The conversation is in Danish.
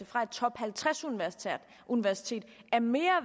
fra et top halvtreds universitet er mere